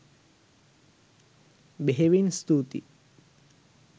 බෙහෙවින් ස්තුතියි.